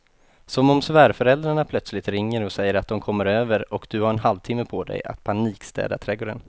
Som om svärföräldrarna plötsligt ringer och säger att de kommer över och du har en halvtimme på dig att panikstäda trädgården.